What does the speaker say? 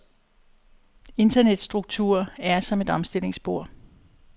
Internets struktur er som et omstillingsbord.